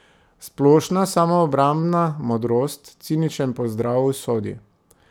Splošna samoobrambna modrost, ciničen pozdrav usodi.